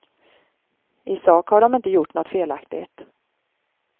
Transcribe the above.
I sak har de inte gjort något felaktigt.